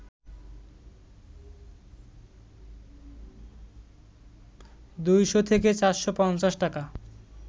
২শ’ থেকে ৪৫০ টাকা